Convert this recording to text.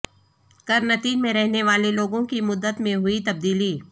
قرنطین میں رہنے والے لوگوں کی مدت میں ہوئی تبدیلی